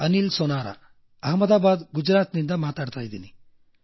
ಅನಿಲ್ ಸೊನಾರಾ ಅಹ್ಮದಾಬಾದ್ಗುಜರಾತಿನಿಂದ ಮಾತಾಡುತ್ತಿದ್ದೇನೆ